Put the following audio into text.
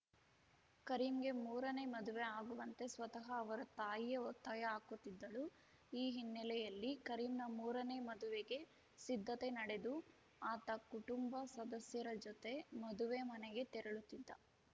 ಕರೀಂಗೆ ಮೂರನೇ ಮದುವೆ ಆಗುವಂತೆ ಸ್ವತಃ ಅವರ ತಾಯಿಯೇ ಒತ್ತಾಯ ಹಾಕುತ್ತಿದ್ದಳು ಈ ಹಿನ್ನೆಲೆಯಲ್ಲಿ ಕರೀಂನ ಮೂರನೇ ಮದುವೆಗೆ ಸಿದ್ಧತೆ ನಡೆದು ಆತ ಕುಟುಂಬ ಸದಸ್ಯರ ಜೊತೆ ಮದುವೆ ಮನೆಗೆ ತೆರಳುತ್ತಿದ್ದ